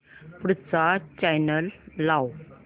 पुढचा चॅनल लाव